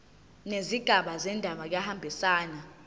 nezigaba zendaba kuyahambisana